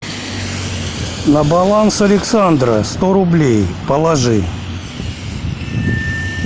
на баланс александра сто рублей положи